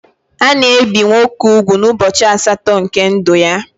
Ana ebi nwoke úgwù n'ubọchi asatọ nke ndụ ya.